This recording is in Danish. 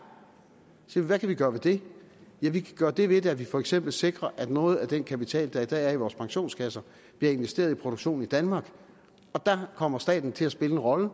hvad kan vi gøre ved det ja vi kan gøre det ved det at vi for eksempel sikrer at noget af den kapital der i dag er i vores pensionskasser bliver investeret i produktion i danmark og der kommer staten til at spille en rolle